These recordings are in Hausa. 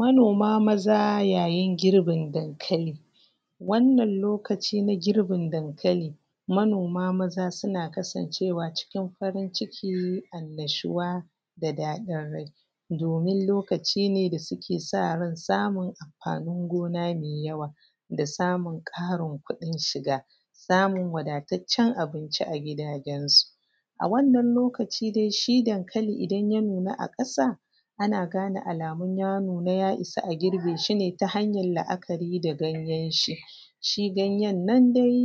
manoma maza yayin girbin dankali wannan lokaci na girbin dankali manoma maza suna kasan cewa cikin farin ciki annashuwa da dadin rai domin lokaci ne da suke sa ran samun amfanin gona mai yawa da samun ƙarin kuɗin shiga da samun wadataccen abinci a gidajen su a wannan lokaci dai shi dankali idan ya nuna a ƙasa ana gane alamun ya nuna ya isa a girbe shi ne ta hanyar laakari da ganyen shi shi ganyen nan dai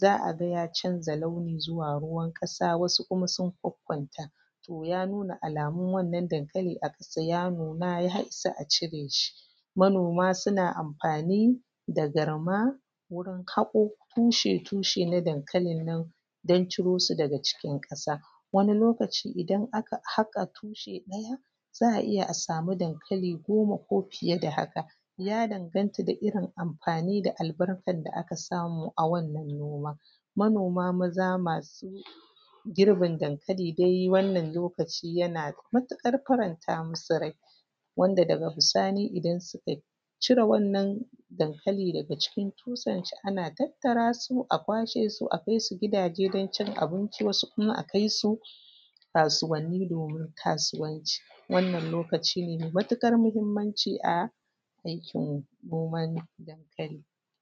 za a ga ya canza launi zuwa ruwan ƙasa wasu kuma sun kwakkwanta to ya nuna alamun wannan dankali a ƙasa ya nuna ya isa a cire shi manoma suna amfani da garma wurin hako tushe tushe na dankalin nan dan ciro su daga cikin ƙasa wani lokaci idan aka haka tushe ɗaya za a iya a samu dankali goma ko fiye da haka ya danganta da irin amfani da albarkar da aka samu a wannan noma manoma maza masu girbin dankali dai wannan lokaci yana da matuƙar faranta musu rai wanda daga bisani idan suka cire wannan dankali daga cikin tushen shi ana tattara su a kwashe su a kai su gidaje dan cin abinci wasu kuma a kai su kasuwanni domin kasuwanci wannan lokaci ne mai matuƙar muhimmanci a aikin noman dankali